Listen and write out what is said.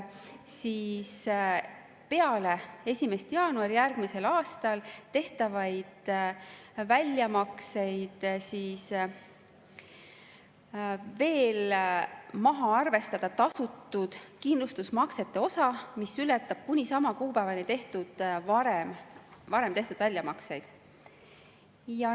Peale 1. jaanuari järgmisel aastal tehtavaid väljamakseid võiks veel maha arvestada tasutud kindlustusmaksete osa, mis ületab kuni sama kuupäevani varem tehtud väljamakseid.